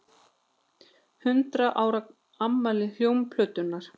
Hundrað ára afmæli hljómplötunnar